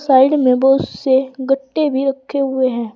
Side में बहुत से गट्टे भी रखे हुए हैं।